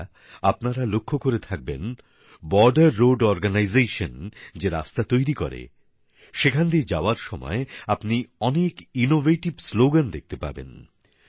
বন্ধুরা আপনারা লক্ষ্য করে থাকবেন বর্ডার রোড অরগানাইজেশন যে রাস্তা তৈরি করে সেখান দিয়ে যাওয়ার সময় আপনি অনেক নতুন ধরণের স্লোগান দেখতে পাবেন